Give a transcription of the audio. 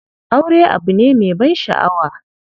Aure abu ne me ban shaʼawa.